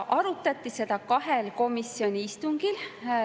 Arutati seda kahel komisjoni istungil.